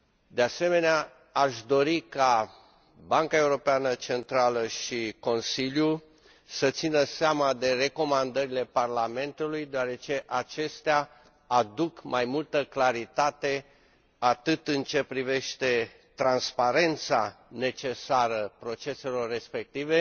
De asemenea, aș dori ca Banca Centrală Europeană și Consiliul să țină seama de recomandările Parlamentului, deoarece acestea aduc mai multă claritate, atât în ceea ce privește transparența necesară proceselor respective,